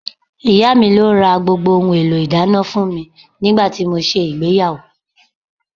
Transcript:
Ìyá mi ló ra gbogbo ohun èlò ìdáná fún mi nígbà tí mo ṣe ìgbéyàwó